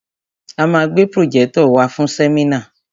A ma gbé pròjẹ́tọ̀ wàá fún sẹ́mínà.